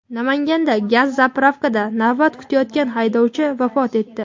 Namanganda gaz "zapravka"da navbat kutayotgan haydovchi vafot etdi.